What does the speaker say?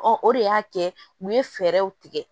o de y'a kɛ u ye fɛɛrɛw tigɛ